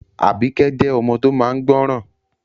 Àbíkẹ́ jẹ́ ọmọ tó máa n gbọ́ràn